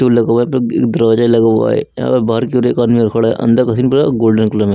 Tool लगा हुआ है। बग इग दरवाजा लगा हुआ है। यहां पर बाहर की ओर एक आदमी और खड़ा है। अंदर का सीन पूरा गोल्डन कलर में --